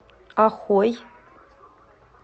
охой